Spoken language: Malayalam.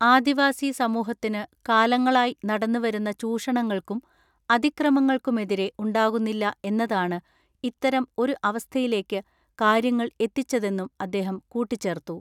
ആദിവാസി സമൂഹത്തിനു കാലങ്ങളായി നടന്നുവരുന്ന ചൂഷണങ്ങൾക്കും അതിക്രമങ്ങൾക്കുമെതിരെ ഉണ്ടാകുന്നില്ല എന്നതാണ് ഇത്തരം ഒരു അവസ്ഥയിലേയ്ക്ക് കാര്യങ്ങൾ എത്തിച്ചതെന്നും അദ്ദേഹം കൂട്ടിച്ചേർത്തു.